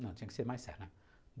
Não, tinha que ser mais sério, né?